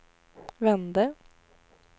vände